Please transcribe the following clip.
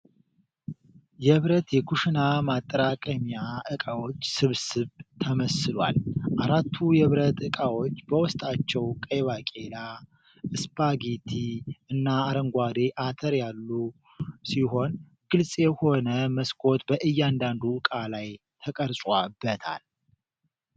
የብረት የኩሽና ማጠራቀሚያ እቃዎች ስብስብ ተመስሏል። አራቱ የብረት እቃዎች በውስጣቸው ቀይ ባቄላ፣ ስፓጌቲ እና አረንጓዴ አተር ያሉ ሲሆን ግልጽ የሆነ መስኮት በእያንዳንዱ ዕቃ ላይ ተቀርጾበታል።